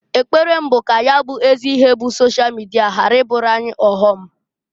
Ekpere m bụ ka ya bụ ezi ihe bụ sosha mịdia hapụ ịbụụrụ anyị ọghọm.